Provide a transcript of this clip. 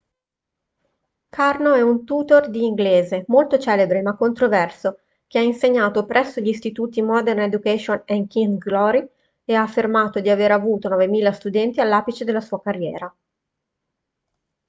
karno è un tutor di inglese molto celebre ma controverso che ha insegnato presso gli istituti modern education e king's glory e ha affermato di aver avuto 9.000 studenti all'apice della sua carriera